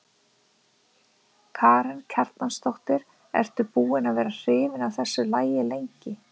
Karen Kjartansdóttir: Ertu búin að vera hrifin af þessu lagi lengi?